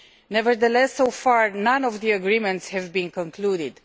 Nevertheless, so far none of the agreements have been concluded.